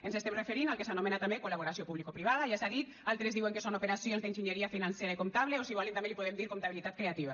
ens estem referint al que s’anomena també col·laboració publicoprivada ja s’ha dit altres diuen que són operacions d’enginyeria financera i comptable o si ho volen també li podem dir comptabilitat creativa